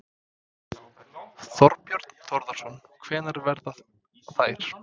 Þorbjörn Þórðarson: Hvenær verða þær?